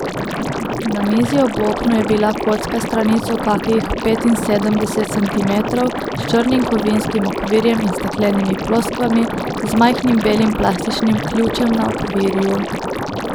Na mizi ob oknu je bila kocka s stranico kakih petinsedemdeset centimetrov, s črnim kovinskim okvirjem in steklenimi ploskvami, z majhnim belim plastičnim ključem na okvirju.